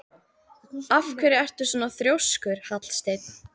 Af hverju ertu svona þrjóskur, Hallsteinn?